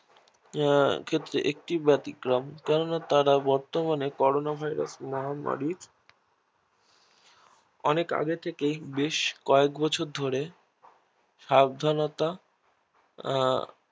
আহ ক্ষেত্রে একটি ব্যতিক্রম কেননা তারা বর্তমানে করনা Virus মহামারীর অনেক আগে থেকেই বেশ কয়েক বছর ধরে সাবধানতা